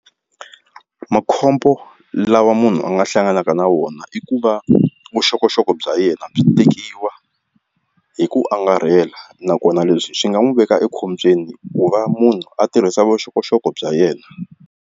Makhombo lawa munhu a nga hlanganaka na wona i ku va vuxokoxoko bya yena byi tekiwa hi ku angarhela nakona leswi swi nga n'wi veka ekhombyeni ku va munhu a tirhisa vuxokoxoko bya yena.